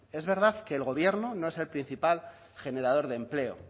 es verdad que el gobierno no es el principal generador de empleo